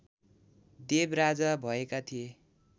देव राजा भएका थिए